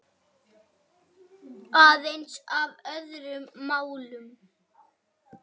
En aðeins að öðrum málum.